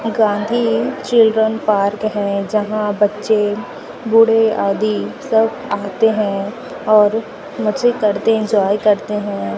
Gandhi children park हैं जहां बच्चे बूढ़े आदि सब आते है और मजे करते एंजॉय करते है।